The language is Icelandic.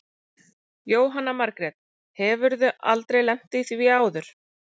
Jóhanna Margrét: Hefurðu aldrei lent í því áður?